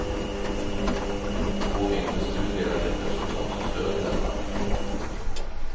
Två mindre studier har gett resultat som stöder detta.